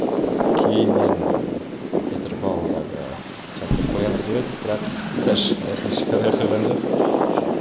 кейіннен петропавлдағы театр қоямыз деп еді бірақ өкінішке орай қойған жоқ